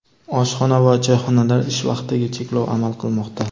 oshxona va choyxonalar ish vaqtiga cheklov amal qilmoqda.